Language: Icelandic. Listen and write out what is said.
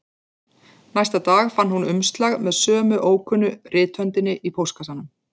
Næsta dag fann hún umslag með sömu ókunnu rithöndinni í póstkassanum